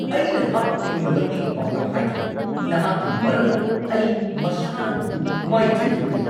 ꯑꯩꯅ ꯅꯍꯥꯛꯄꯨ ꯑꯩꯉꯣꯟꯗ ꯃꯇꯦꯡ ꯄꯥꯡꯅꯕ ꯍꯥꯏꯈꯤꯕꯅꯤ! ꯅꯍꯥꯛꯀꯤ ꯃꯔꯝꯅ ꯑꯩ ꯃꯁꯥꯟꯅ ꯑꯗꯨ ꯃꯥꯏꯊꯤꯈꯤꯕꯅꯤ!